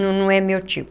Não é meu tipo.